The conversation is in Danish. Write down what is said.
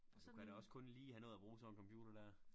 Du kan da også kun lige have nået at bruge sådan en computer dér